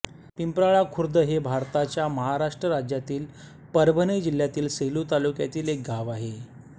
पिंप्राळा खुर्द हे भारताच्या महाराष्ट्र राज्यातील परभणी जिल्ह्यातील सेलू तालुक्यातील एक गाव आहे